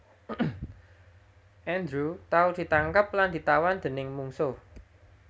Andrew tau ditangkep lan ditawan déning mungsuh